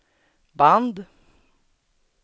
band